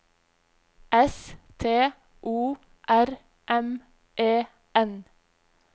S T O R M E N